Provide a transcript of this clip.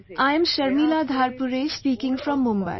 I am Sharmila Dharpure speaking from Mumbai